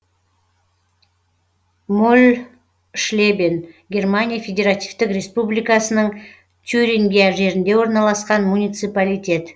мольшлебен германия федеративтік республикасының тюрингия жерінде орналасқан муниципалитет